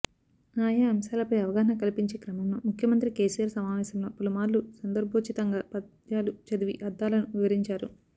ఆయా అంశాలపై అవగాహన కల్పించే క్రమంలో ముఖ్యమంత్రి కేసీఆర్ సమావేశంలో పలుమార్లు సందర్భోచితంగా పద్యాలు చదివి అర్థాలను వివరించారు